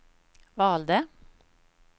valde